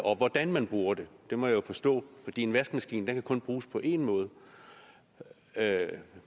og hvordan man bruger det det må jeg jo forstå en vaskemaskine kan kun bruges på én måde